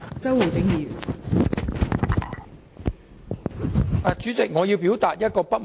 代理主席，我要就其中一點表達不滿。